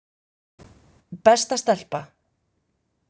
Besta stelpa.